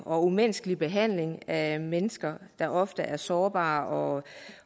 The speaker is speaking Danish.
og umenneskelig behandling af mennesker der ofte er sårbare